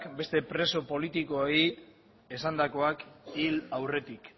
beste preso politikoei esandakoak hil aurretik